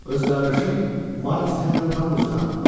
Öz qardaşın Miles Hendon tanımısan?